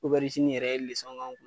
yɛrɛ k;an kun